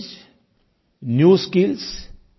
ences new skills